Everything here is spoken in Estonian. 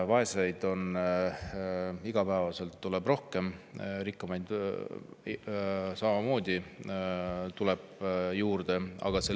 Vaeseid on iga päevaga rohkem, rikkamaid tuleb samamoodi juurde.